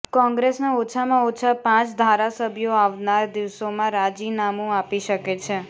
કોંગ્રેસના ઓછામાં ઓછા પાંચ ધારાસભ્યો આવનાર દિવસોમાં રાજીનામુ આપી શકે છે